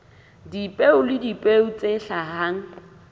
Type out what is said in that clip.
dipeo le dipeo tse hlahang